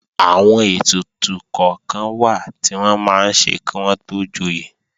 Àwọn ètùtù kọ́kan wà tí wọ́n máa ń ṣe kí wọ́n tó joyè